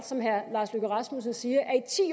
som herre lars løkke rasmussen siger